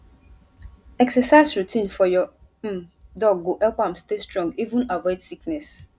exercise routine for your um dog go help am stay strong even avoid sickness